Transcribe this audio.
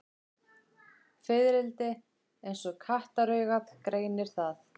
Fiðrildi eins og kattaraugað greinir það.